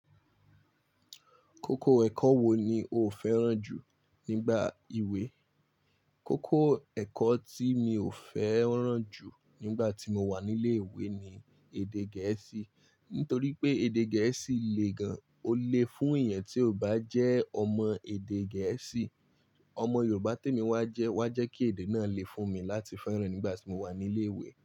Kókó ẹ̀kọ́ wo ni o fẹ́ràn jù nígbà ìwé? Kókó ẹ̀kọ́ tí mi ò fẹ́ràn jù nígbà tí mo wà ní ilé ìwé ni èdè Gẹ̀ẹ́sì. Nítorí pé èdè Gẹ̀ẹ́sì le gan-an. Ó le fún èèyàn tí ò bá jẹ́ ọmọ èdè Gẹ̀ẹ́sì. Ọmọ Yorùbá témi wá jẹ́ wá jẹ́ kí èdè náà le fún mi láti fẹ́ràn nígbà tí mo wà nílé ìwé.